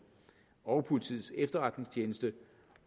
og politiets efterretningstjeneste